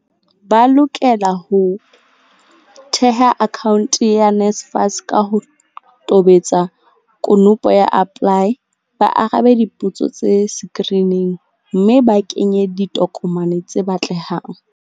Ba lokela ho theha akhaonte ya myNSFAS, ka ho tobetsa konopo ya APPLY, ba arabe dipotso tse sekirining mme ba kenye ditokomane tse batle hang.